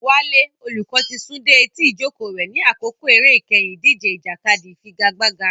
Wale, olùkọ́, ti sún dé etí ìjókòó rẹ̀ ní àkókò eré ìkẹyìn ìdíje ìjàkadì ìfigagbága.